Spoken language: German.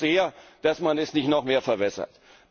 Ich hoffe sehr, dass man das nicht noch mehr verwässert.